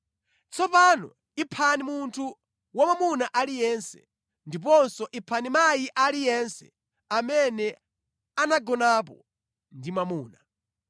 Tsopano iphani munthu wamwamuna aliyense. Ndiponso iphani mayi aliyense amene anagonapo ndi mwamuna,